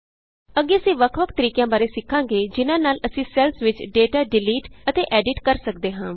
ਅੱਗੇ ਅਸੀਂ ਵੱਖ ਵੱਖ ਤਰੀਕਿਆਂ ਬਾਰੇ ਸਿੱਖਾਂਗੇ ਜਿਹਨਾਂ ਨਾਲ ਅਸੀਂ ਸੈੱਲਸ ਵਿਚ ਡੇਟਾ ਡਿਲੀਟ ਅਤੇ ਐਡਿਟ ਕਰ ਸਕਦੇ ਹਾਂ